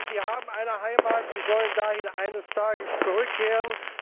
Nein, sie haben eine Heimat, sie sollen dahin eines Tages zurückkehren.